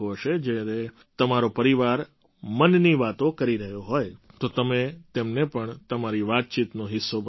જ્યારે તમારો પરિવાર મનની વાતો કરી રહ્યો હોય તો તમે તેમને પણ તમારી વાતચીતનો હિસ્સો બનાવો